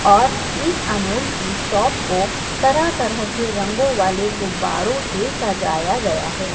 और इस अमूल कि शॉप को तरह तरह के रंगो वाले गुब्बारों से सजाया गया है।